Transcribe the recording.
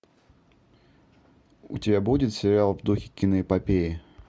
у тебя будет сериал в духе киноэпопеи